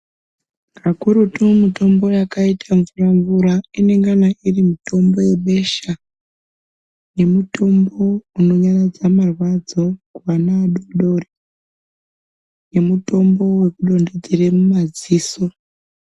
Kakurutu mitombo yakaita ingamvura mvura inengana iri mitombo yebesha nemitombo inonyaradza marwadzo kuana adoodori nemutombo wekudonthedzere mumadziso.